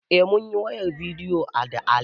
Eh munyi wayar bidiyo da Ali